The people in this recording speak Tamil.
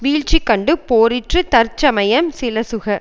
வீழ்ச்சி கண்டு போரிற்று தற்சமயம் சிலசுக